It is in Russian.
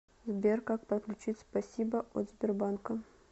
сбер как подключить спасибо от сбербанка